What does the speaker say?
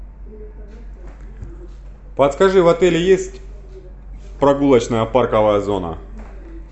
подскажи в отеле есть прогулочная парковая зона